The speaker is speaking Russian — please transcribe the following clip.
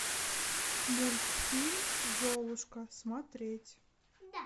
мультфильм золушка смотреть